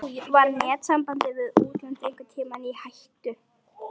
Var netsamband við útlönd einhvern tímann í hættu?